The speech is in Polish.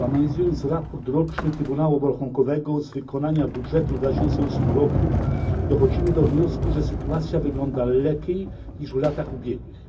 Analizując raport roczny Trybunału Obrachunkowego z wykonania budżetu w 2008 roku dochodzimy do wniosku, że sytuacja wygląda lepiej niż w latach ubiegłych.